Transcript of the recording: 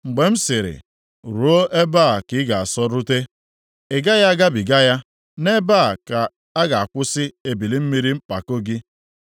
mgbe m sịrị, ‘Ruo ebe a ka ị ga-asọrute, ị gaghị agabiga ya, nʼebe a ka a ga-akwụsị ebili mmiri mpako gị’?